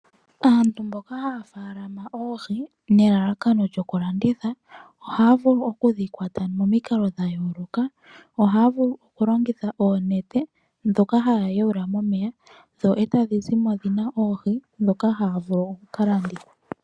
Aantu mboka haya faalama oohi nelalakano lyokulanditha, ohaya vulu okudhi kwata momikalo dhayooloka. Ohaya vulu okulongitha oonete, ndhoka haya yaula momeya, dho e tadhi zimo dhina oohi, ndhoka haya vulu okuka landitha.